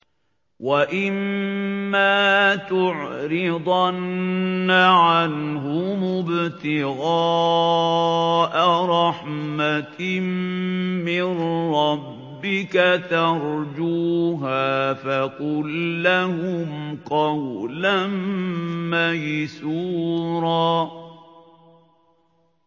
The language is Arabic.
وَإِمَّا تُعْرِضَنَّ عَنْهُمُ ابْتِغَاءَ رَحْمَةٍ مِّن رَّبِّكَ تَرْجُوهَا فَقُل لَّهُمْ قَوْلًا مَّيْسُورًا